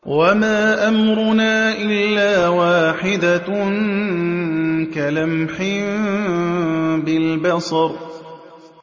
وَمَا أَمْرُنَا إِلَّا وَاحِدَةٌ كَلَمْحٍ بِالْبَصَرِ